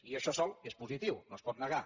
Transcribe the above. i això sol és positiu no es pot negar